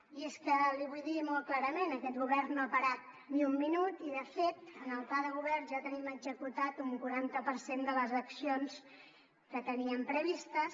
i és que l’hi vull dir molt clarament aquest govern no ha parat ni un minut i de fet en el pla de govern ja tenim executat un quaranta per cent de les accions que teníem previstes